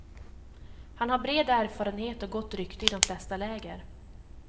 Han har bred erfarenhet och gott rykte i de flesta läger.